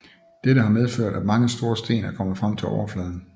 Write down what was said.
Dette har medført at mange store sten er kommet frem til overfladen